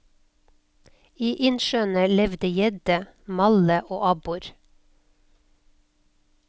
I innsjøene levde gjedde, malle og abbor.